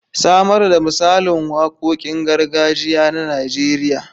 Samar da misalin waqoqin gargajiya na Nijeriya.